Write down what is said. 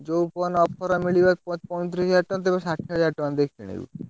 ଯୋଉ phone offer ରେ ମିଳିବ, ପଇଁତିରିଶ ହାଜ଼ାର ଟଙ୍କା, ତୁ ଏବେ ଷାଠିଏ ହାଜ଼ାର ଟଙ୍କା ଦେଇ କିଣିବୁ?